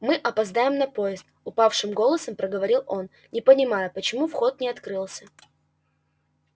мы опоздаем на поезд упавшим голосом проговорил он не понимаю почему вход не открылся